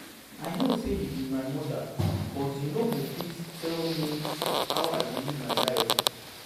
I know say you be my mother but you no go fit tell me how I go live my life